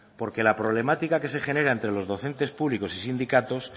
porque la problemática que se generan entre los docentes públicos y sindicatos